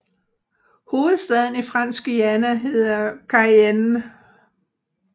Hovedstaden i Fransk Guyana hedder Cayenne